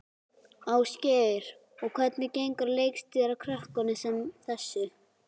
Ásgeir: Og hvernig gengur að leikstýra krökkum sem þessu?